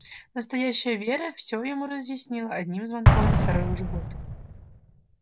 настоящая вера всё ему разъяснила одним звонком на второй уже год